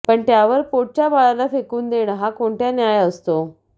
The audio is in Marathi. पण त्यावर पोटच्या बाळाला फेकून देणं हा कोणता न्याय असतो